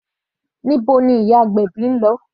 Níbo ni ìyá agbèbí ń lọ?